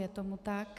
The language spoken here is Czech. Je tomu tak.